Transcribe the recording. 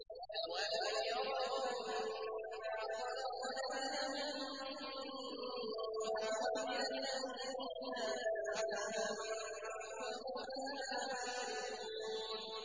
أَوَلَمْ يَرَوْا أَنَّا خَلَقْنَا لَهُم مِّمَّا عَمِلَتْ أَيْدِينَا أَنْعَامًا فَهُمْ لَهَا مَالِكُونَ